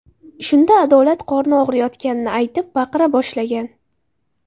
Shunda Adolat qorni og‘riyotganini aytib, baqira boshlagan.